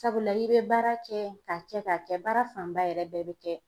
Sabula i bɛ baara kɛ k'a kɛ k'a kɛ baara fanba yɛrɛ bɛɛ bɛ kɛ